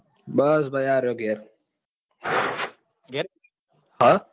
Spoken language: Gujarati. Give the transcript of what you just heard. બસ ભાઈ આ રહ્યો ઘેર હા